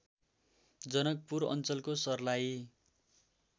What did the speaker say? जनकपुर अञ्चलको सर्लाही